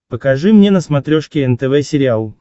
покажи мне на смотрешке нтв сериал